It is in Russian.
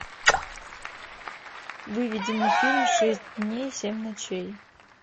выведи мне фильм шесть дней семь ночей